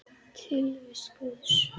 Tilvist Guðs